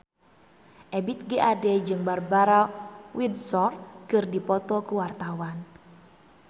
Ebith G. Ade jeung Barbara Windsor keur dipoto ku wartawan